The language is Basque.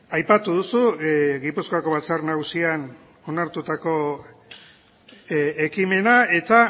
aipatu duzu gipuzkoako batzar nagusian onartutako ekimena eta